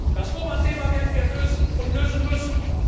Das Roma Thema werden wir lösen und lösen müssen.